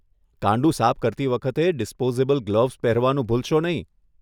કાંડુ સાફ કરતી વખતે ડિસ્પોઝેબલ ગ્લોવ્ઝ પહેરવાનું ભૂલશો નહીં.